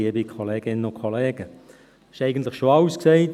Es ist eigentlich schon alles gesagt.